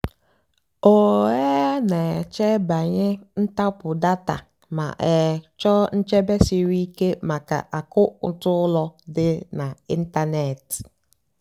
ọ́ um nà-èchè bànyè ntàpụ́ dátà mà um chọ́ọ́ nchèbè síríké màkà àkàụ́ntụ́ ùlọ àkụ́ dì n'ị́ntánètị́.